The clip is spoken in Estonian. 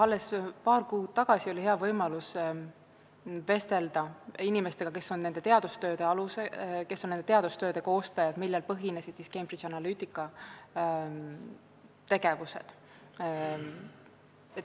Alles paar kuud tagasi oli mul hea võimalus vestelda inimestega, kes on nende teadustööde koostajad, millele põhines Cambridge Analytica tegevus.